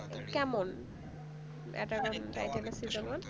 কেমন Attack on Titan এর